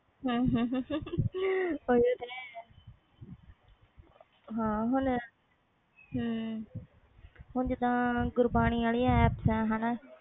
ਹਾਂ ਹੁਣ ਜੀਦਾ ਗੁਰਬਾਣੀ ਵਾਲਿਆਂ app ਆ